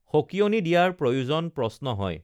সঁকিয়নি দিয়াৰ প্ৰয়োজন প্ৰশ্ন হয়